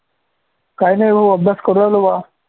काही ओ अभ्यास करू राहिलो बा